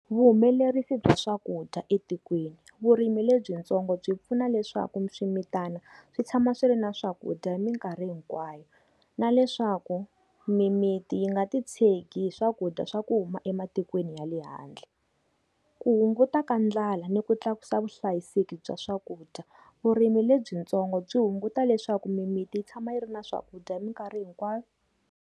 Vuhumelerisi bya swakudya etikweni. Vurimi lebyintsongo byi pfuna leswaku swimitana swi tshama swi ri na swakudya hi minkarhi hinkwayo. Na leswaku mimiti yi nga ti tshegi hi swakudya dya swa ku huma ematikweni ya le handle. Ku hunguta ka ndlala ni ku tlakusa vuhlayiseki bya swakudya. Vurimi lebyintsongo byi hunguta leswaku mimiti yi tshama yi ri na swakudya hi minkarhi hinkwayo.